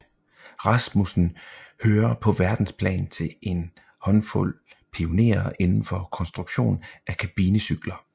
Rasmussen hører på verdensplan til en håndfuld pionerer inden for konstruktion af kabinecykler